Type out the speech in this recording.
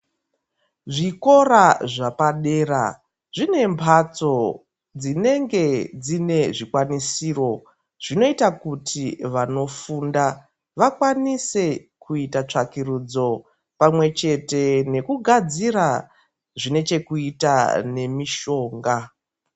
Zvikora zvapadera zvine mhatso dzinenge dzine zvikwanisiro zvinoita kuti vanofunda vakwanise kuita tsvakurudzo pamwechete nekugadzira zvinechekuita nemishonga.